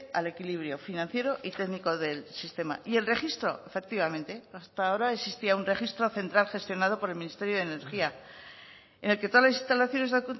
al equilibrio financiero y técnico del sistema y el registro efectivamente hasta ahora existía un registro central gestionado por el ministerio de energía en el que todas las instalaciones de